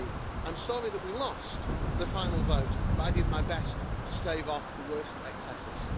13. I am sorry that we lost the final vote, but I did my best to stave off the worst excesses.